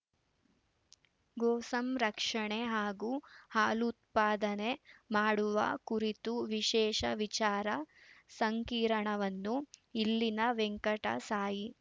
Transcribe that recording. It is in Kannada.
ಗೋಸಂರಕ್ಷಣೆ ಹಾಗೂ ಹಾಲು ಉತ್ಪಾದನೆ ಮಾಡುವ ಕುರಿತು ವಿಶೇಷ ವಿಚಾರ ಸಂಕಿರಣವನ್ನು ಇಲ್ಲಿನ ವೆಂಕಟಸಾಯಿ